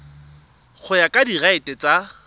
go ya ka direiti tsa